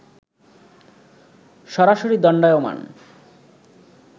সরাসরি দণ্ডায়মান